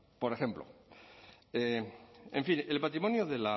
por ejemplo en fin el patrimonio de